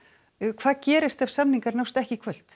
hvað gerist ef samningar nást ekki í kvöld